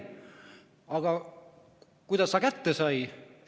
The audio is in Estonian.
Aga kuidas ta kätte sai?